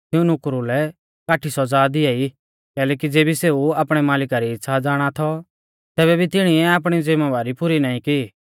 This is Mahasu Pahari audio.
तिऊं नुकरु लै काठी सौज़ा दिआई कैलैकि ज़ैबै सेऊ आपणै मालिका री इच़्छ़ा ज़ाणा थौ तैबै भी तिणीऐ आपणी ज़िमैबारी पुरी नाईं की